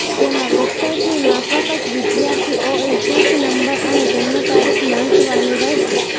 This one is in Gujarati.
જેમાં વેબસાઈટની માફક જ વિદ્યાર્થીઓએ સીટ નંબર અને જન્મ તારીખ નાંખવાની રહેશે